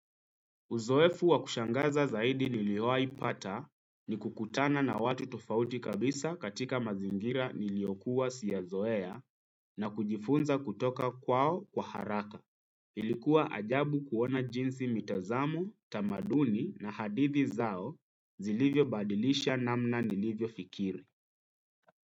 Uzoefu wa kushangaza zaidi niliwaipata ni kukutana na watu tofauti kabisa katika mazingira niliokuwa sijazoea na kujifunza kutoka kwao kwa haraka. Ilikuwa ajabu kuona jinsi mitazamo, tamaduni na hadithi zao zilivyobadilisha namna nilivyo fikiri.